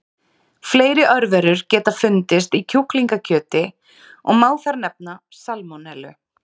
Fleiri örverur geta fundist í kjúklingakjöti og má þar nefna salmonellu.